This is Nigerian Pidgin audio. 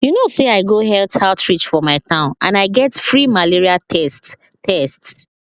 you know say i go health outreach for my town and i get free malaria tests tests